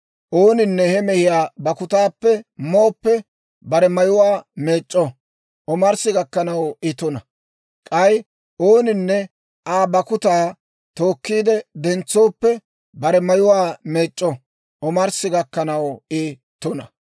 Ooninne he mehiyaa bakkutaappe mooppe, bare mayuwaa meec'c'o; omarssi gakkanaw I tuna; k'ay ooninne Aa bakkutaa tookkiide dentsooppe, bare mayuwaa meec'c'o; omarssi gakkanaw I tuna.